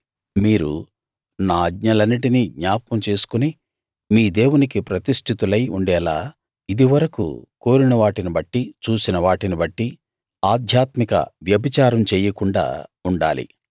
మీరు నా ఆజ్ఞలన్నిటినీ జ్ఞాపకం చేసుకుని మీ దేవునికి ప్రతిష్ఠితులై ఉండేలా ఇదివరకు కోరిన వాటిని బట్టి చూసిన వాటిని బట్టి ఆధ్యాత్మిక వ్యభిచారం చెయ్యకుండా ఉండాలి